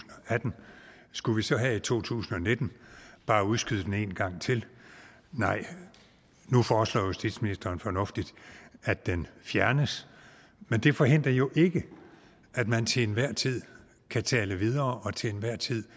atten skulle vi så have et to tusind og nitten og bare udskyde den en gang til nej nu foreslår justitsministeren fornuftigt at den fjernes men det forhindrer jo ikke at man til enhver tid kan tale videre og til enhver tid